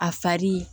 A fari